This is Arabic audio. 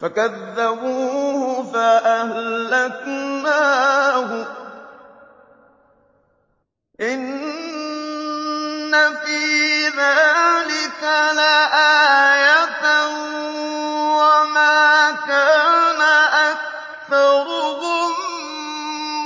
فَكَذَّبُوهُ فَأَهْلَكْنَاهُمْ ۗ إِنَّ فِي ذَٰلِكَ لَآيَةً ۖ وَمَا كَانَ أَكْثَرُهُم